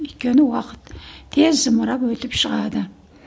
өйткені уақыт тез зымырап өтіп шығады